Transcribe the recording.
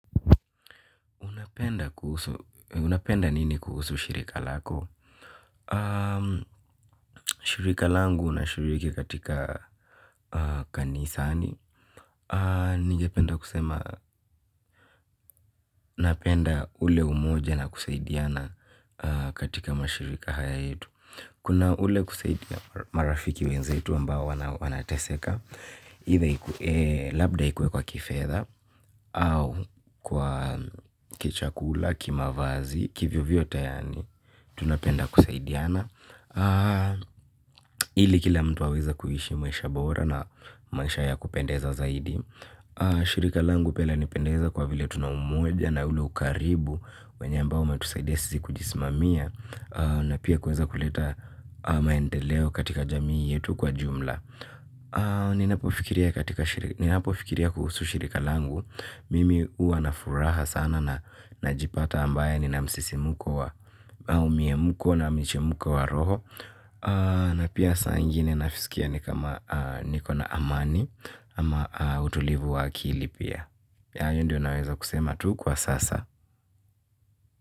Unapenda nini kuhusu shirika lako? Shirika langu nashiriki katika kanisani. Ningependa kusema, napenda ule umoja na kusaidiana katika mashirika haya yetu. Kuna ule kusaidia marafiki wenzetu ambao wanateseka. Either ikue labda ikue kwa kifedha au kwa kichakula, kimavazi kivyovyote yaani tunapenda kusaidiana ili kila mtu aweze kuhishi maisha bora na maisha ya kupendeza zaidi shirika langu pia lanipendeza kwa vile tuna umoja na ule ukaribu wenye ambao umetusaidia sisi kujisimamia na pia kuweza kuleta maendeleo katika jamii yetu kwa jumla. Ninapofikiria katika shirika ninapo fikiria kuhusu shirika langu mimi juwa na furaha sana na najipata ambaye nina msisimko wa au miemko na michemko wa roho. Na pia saa ingine nasikia ni kama niko na amani. Ama utulivu wa akili pia hayo. Ndio naweza kusema tu kwa sasa.